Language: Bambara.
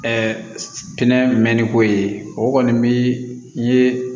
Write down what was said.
pinɛ mɛn mɛnni ko ye o kɔni bi ye